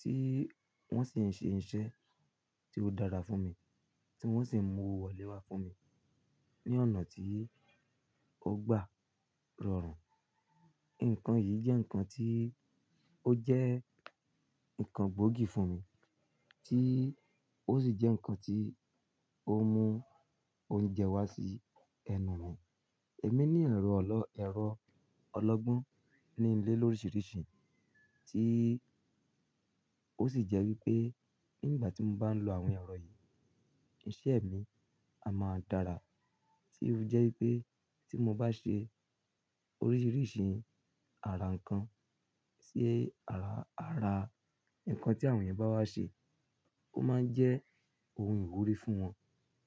tí wọ́n sì ń ṣe iṣẹ́ tí ó dára fún mi tí wọ́n sì ń mú owó wọlé wá fún mi ní ọ̀nà tí ó gba rọrùn. Nǹkan yìí jẹ́ nǹkan tí ó jẹ́ nǹkan gbóògì fún mi tí ó sì jẹ́ nǹkan tí ó mú oúnjẹ wá sí ẹnu mi. Èmi ní ẹ̀rọ ọlọ́, ẹ̀rọ ọlọ́gbọ́n ní ilé lóríṣiríṣi tí ó sì jẹ́ wípé nígbà tí mo bá ń lo àwọn ẹ̀rọ yìí iṣẹ́ mi a máa dára tí ó jẹ́ wípé tí mo bá ṣe oríṣiríṣi àrà ǹkan sí ara, ara ǹkan tí àwọn ẹ̀yà bá wá ṣe, ó máa ń jẹ́ ohun ìwúrí fún wọn